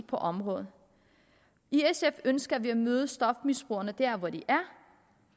på området i sf ønsker vi at møde stofmisbrugerne der hvor de er